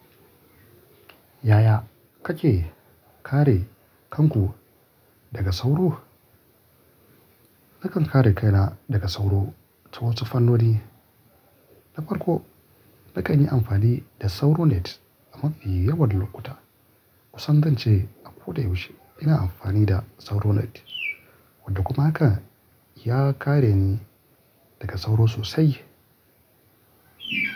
Yaya kake kare kanku daga sauro? Nakan kare kaina daga sauro ta wasu fannoni. Na farko, na kan yi amfani da Sauro Net a mafi yawan lokuta. Kusan zance a ko da yaushe ina amfani da Sauro Net, wanda kuma haka ya kare ni daga sauro sosai.